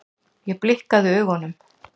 Ég blikkaði augunum.